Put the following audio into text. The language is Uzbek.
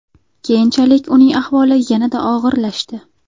Keyinchalik uning ahvoli yanada og‘irlashdi.